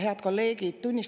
Head kolleegid!